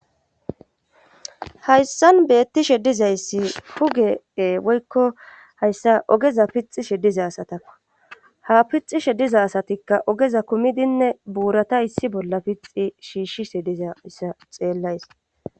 Hayssan beettishe dizayssi hugee woykko hayssa ogeza pixi she diza asatakka ha pixi shediza asatikka ogeza kumidinne buurata issi bolla pixi shiishshi se diza issa xeellays.